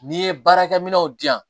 N'i ye baarakɛ minɛnw di yan